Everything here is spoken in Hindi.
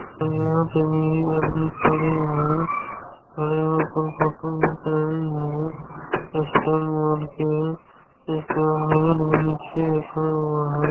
और यहां पे भी आदमी खड़े है खड़े हुए कोई फोटो खींचा रही है स्टाइल मार के भी नीचे रखा है।